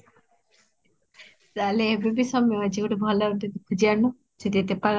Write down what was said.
ତାହାହେଲେ ଏବେବି ସମୟ ଅଛି ଗୋଟେ ଭଲ ଗୋଟେ ଖୋଜି ଆଣୁନ ଯିଏ ଏତେ